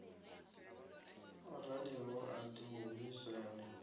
o raliho a ḓo humiselwa